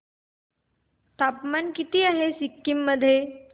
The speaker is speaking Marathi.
तापमान किती आहे सिक्किम मध्ये